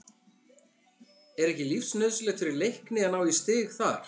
Er ekki lífsnauðsynlegt fyrir Leikni að ná í stig þar?